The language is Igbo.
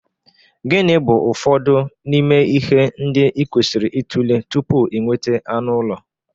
Gịnị bụ ụfọdụ n'ime ihe ndị ị kwesịrị ịtụle tupu ị nweta anụ ụlọ?